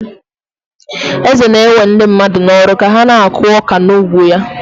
Eze na-ewe ndị mmadụ n'ọrụ ka ha na-akụ ọka n'ugbo ya.